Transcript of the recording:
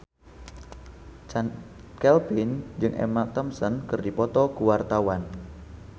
Chand Kelvin jeung Emma Thompson keur dipoto ku wartawan